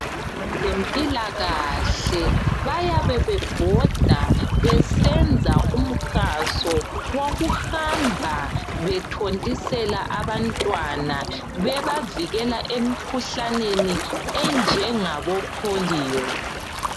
Abezempilakahle bayabe bebhoda besenza umhaso wokuhamba bethontisela abantwana bebavikela emikhuhlaneni enjengabo pholiyo.